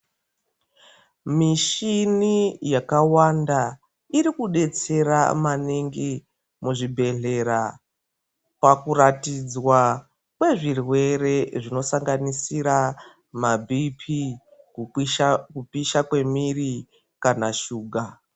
Mishini yakawanda irikudetsera maningi muzvibhehlera pakuratidzwa kwezvirwere zvinosanganisira mabhiipii, kupisha kwemiri kana shuga